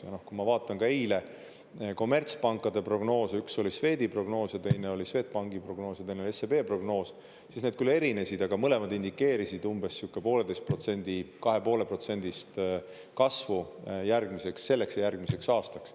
Ja kui ma vaatan ka eile kommertspankade prognoose, üks oli Swedi prognoos, ja teine oli Swedbanki prognoos ja teine oli SEB prognoos siis need erinesid, aga mõlemad indikeerisid umbes pooleteise protsendi, 2,5 protsendist kasvu järgmiseks, selleks ja järgmiseks aastaks.